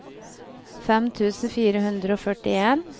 fem tusen fire hundre og førtien